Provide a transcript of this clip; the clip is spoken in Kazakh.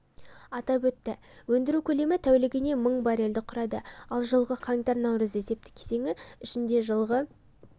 атап өтті өндіру көлемі тәулігіне мың баррельді құрады ал жылғы қаңтар-наурыз есепті кезеңі ішінде жылғы